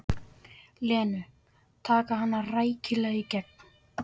Lenu, taka hana rækilega í gegn.